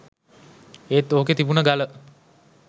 ඒත් ඕකෙ තිබුණ ගල